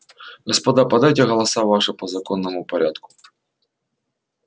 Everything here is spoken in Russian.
господа подайте голоса ваши по законному порядку